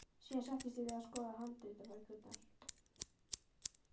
Síðan settist ég við að skoða handritabækurnar.